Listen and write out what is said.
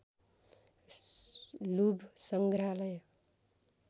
लुभ सङ्ग्रहालय